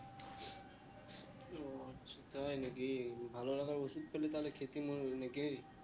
ও আচ্ছা তাই না কি ভালো লাগার ওষুধ পেলে তাহলে খেতি মনে হয় না কি